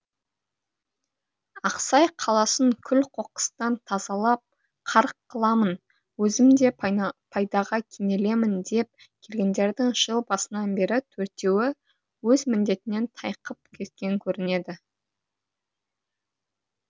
ақсай қаласын күл қоқыстан тазалап қарық қыламын өзім де пайдаға кенелемін деп келгендердің жыл басынан бері төртеуі өз міндетінен тайқып кеткен көрінеді